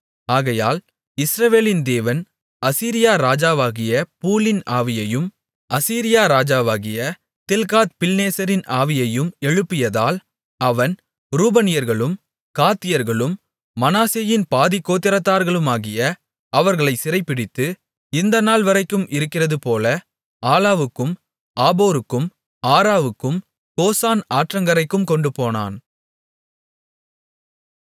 ஆகையால் இஸ்ரவேலின் தேவன் அசீரியா ராஜாவாகிய பூலின் ஆவியையும் அசீரியா ராஜாவாகிய தில்காத்பில்நேசரின் ஆவியையும் எழுப்பியதால் அவன் ரூபனியர்களும் காத்தியர்களும் மனாசேயின் பாதிக்கோத்திரத்தார்களுமாகிய அவர்களை சிறைபிடித்து இந்த நாள்வரைக்கும் இருக்கிறதுபோல ஆலாவுக்கும் ஆபோருக்கும் ஆராவுக்கும் கோசான் ஆற்றங்கரைக்கும் கொண்டுபோனான்